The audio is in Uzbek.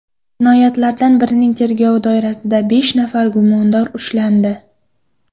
Jinoyatlardan birining tergovi doirasida besh nafar gumondor ushlandi.